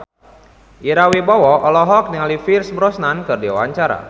Ira Wibowo olohok ningali Pierce Brosnan keur diwawancara